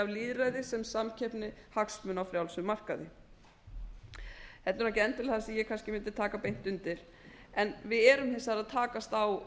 sem samkeppni hagsmuna á frjálsum markaði þetta er ekki endilega það sem ég kannski mundi taka beint undir en við erum hins vegar að takast á